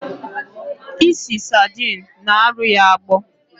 Ịsị sardine na arụ ya agbọ